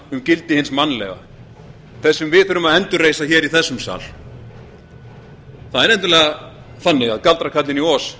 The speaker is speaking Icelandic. um gildi hins mannlega það sem við þurfum að endurreisa í þessum sal það er nefnilega þannig að galdrakarlinn í oz